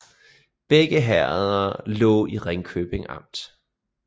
Begge herreder lå i Ringkøbing Amt